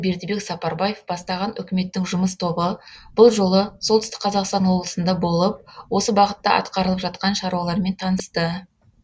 бердібек сапарбаев бастаған үкіметтің жұмыс тобы бұл жолы солтүстік қазақстан облысында болып осы бағытта атқарылып жатқан шаруалармен танысты